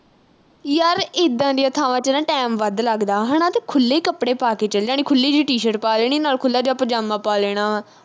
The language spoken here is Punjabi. ਯਰ ਏਦਾਂ ਦੀਆਂ ਥਾਵਾਂ ਤੇ ਨਾ, time ਵੱਧ ਲੱਗਦਾ ਹਨਾ, ਤੇ ਖੁੱਲ੍ਹੇ ਕੱਪੜੇ ਪਾ ਕੇ ਚਲ ਜਾਣਾ। ਖੁੱਲ੍ਹੀ ਜੀ t-shirt ਪਾ ਲੈਣੀ, ਨਾਲ ਖੁੱਲ੍ਹਾ ਜਾ ਪਜਾਮਾ ਪਾ ਲੈਣਾ ਵਾ।